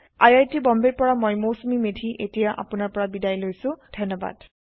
আই আই T বম্বেৰ পৰা মই মৌচুমী মেধী এতিয়া আপুনাৰ পৰা বিদায় লৈছো যোগদানৰ বাবে ধন্যবাদ